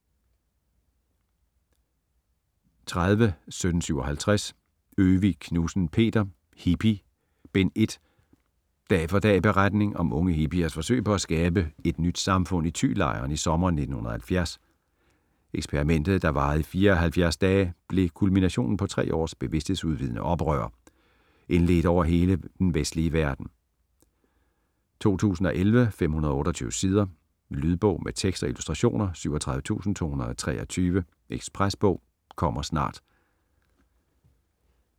30.1757 Øvig Knudsen, Peter: Hippie: Bind 1 Dag for dag beretning om unge hippiers forsøg med at skabe et nyt samfund i Thylejren i sommeren 1970. Eksperimentet, der varede i 74 dage, blev kulminationen på tre års bevidsthedsudvidende oprør - indledt over hele den vestlige verden. 2011, 528 sider. Lydbog med tekst og illustrationer 37223 Ekspresbog - kommer snart